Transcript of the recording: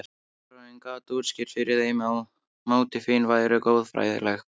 Baróninn gat útskýrt fyrir þeim að mótífin væru goðfræðileg.